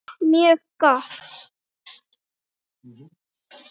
Mjög gott.